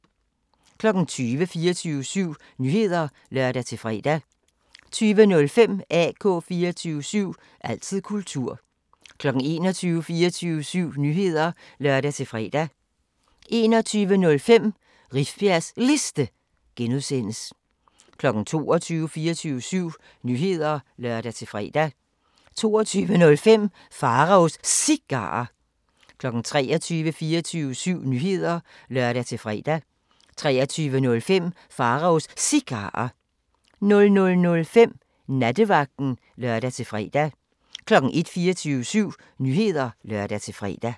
20:00: 24syv Nyheder (lør-fre) 20:05: AK 24syv – altid kultur 21:00: 24syv Nyheder (lør-fre) 21:05: Rifbjergs Liste (G) 22:00: 24syv Nyheder (lør-fre) 22:05: Pharaos Cigarer 23:00: 24syv Nyheder (lør-fre) 23:05: Pharaos Cigarer 00:05: Nattevagten (lør-fre) 01:00: 24syv Nyheder (lør-fre)